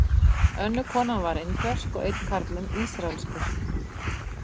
Önnur konan var indversk og einn karlinn ísraelskur.